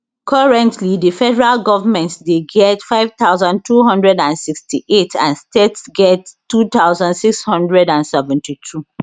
currently di federal goment dey get 5268 and states get 2672